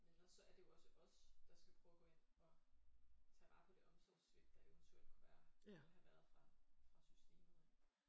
Men også så er det jo også os der skal prøve at gå ind og tage vare på det omsorgssvigt der eventuelt kunne være eller have været fra fra systemet af